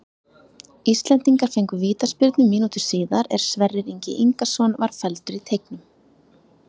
Íslendingar fengu vítaspyrnu mínútu síðar er Sverrir Ingi Ingason var felldur í teignum.